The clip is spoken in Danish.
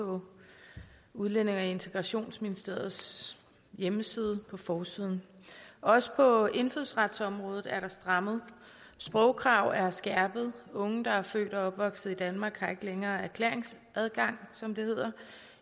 på udlændinge og integrationsministeriets hjemmeside på forsiden også på indfødsretsområdet er der strammet sprogkrav er skærpede unge der er født og opvokset i danmark har ikke længere erklæringsadgang som det hedder